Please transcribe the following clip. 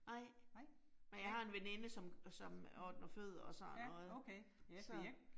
Nej. Men jeg har en veninde, som som ordner fødder og sådan noget. Så